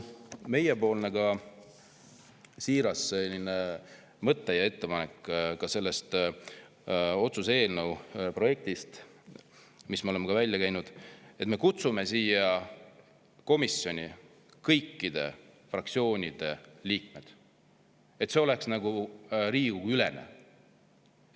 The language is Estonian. Meie siiras mõte ja ettepanek ka selle otsuse eelnõu kohta, mille me oleme välja käinud, on see, et me kutsume kõikide fraktsioonide liikmeid, et see oleks nagu Riigikogu-ülene.